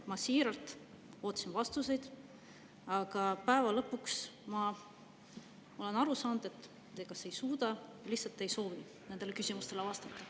Ma siiralt ootasin vastuseid, aga päeva lõpuks ma olen aru saanud, et te kas ei suuda või lihtsalt ei soovi nendele küsimustele vastata.